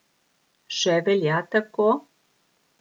Še velja tako?